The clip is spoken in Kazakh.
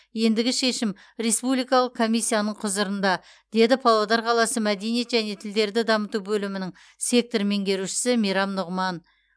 ендігі шешім республикалық комиссияның құзырында деді павлодар қаласы мәдениет және тілдерді дамыту бөлімінің сектор меңгерушісі мейрам нұғыман